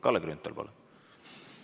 Kalle Grünthal, palun!